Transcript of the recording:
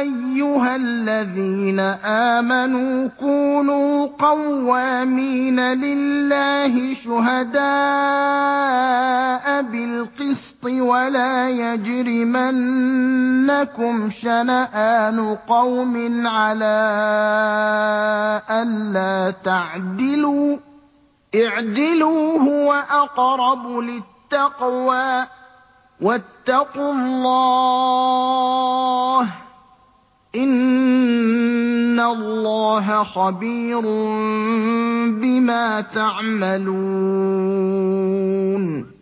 أَيُّهَا الَّذِينَ آمَنُوا كُونُوا قَوَّامِينَ لِلَّهِ شُهَدَاءَ بِالْقِسْطِ ۖ وَلَا يَجْرِمَنَّكُمْ شَنَآنُ قَوْمٍ عَلَىٰ أَلَّا تَعْدِلُوا ۚ اعْدِلُوا هُوَ أَقْرَبُ لِلتَّقْوَىٰ ۖ وَاتَّقُوا اللَّهَ ۚ إِنَّ اللَّهَ خَبِيرٌ بِمَا تَعْمَلُونَ